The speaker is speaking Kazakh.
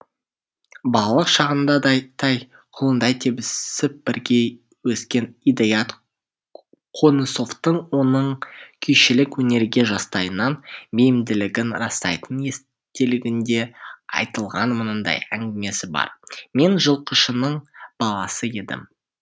балалық шағында тай құлындай тебісіп бірге өскен идаят қонысовтың оның күйшілік өнерге жастайынан бейімділігін растайтын естелігінде айтылған мынандай әңгімесі бар мен жылқышының баласы едім